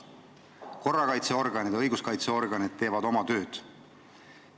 Korrakaitseorganid, õiguskaitseorganid teevad oma tööd.